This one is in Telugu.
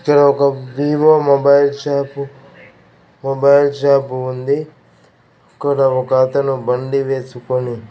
ఇక్కడ ఒక Vivo mobile shop mobile shop ఉంది ఇక్కడ ఒకతను బండి వేసుకొని--